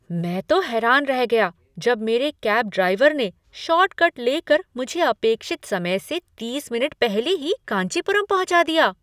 मैं तो हैरान रह गया जब मेरे कैब ड्राइवर ने शॉर्टकट लेकर मुझे अपेक्षित समय से तीस मिनट पहले ही कांचीपुरम पहुँचा दिया!